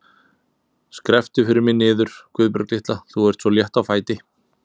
Skrepptu fyrir mig niður, Guðbjörg litla, þú ert svo létt á fæti.